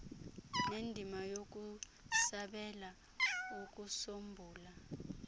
nendima yokusabela ukusombulula